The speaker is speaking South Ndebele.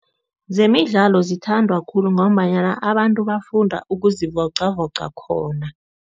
Zemidlalo zithandwa khulu ngombanyana abantu bafunda ukuzivoqavoqa khona.